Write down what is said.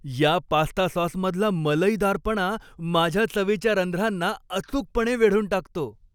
या पास्ता सॉसमधला मलईदारपणा माझ्या चवीच्या रंध्रांना अचूकपणे वेढून टाकतो.